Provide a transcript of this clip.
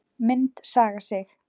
Mynd Saga Sig